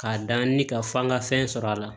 K'a da ni ka fɔ an ka fɛn sɔrɔ a la